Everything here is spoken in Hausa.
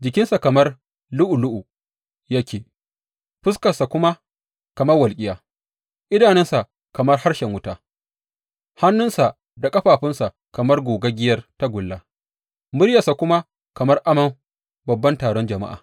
Jikinsa kamar lu’ulu’u yake, fuskarsa kuma kamar walƙiya, idanunsa kamar harshen wuta, hannuwansa da ƙafafunsa kamar gogaggiyar tagulla, muryarsa kuma kamar amon babban taron jama’a.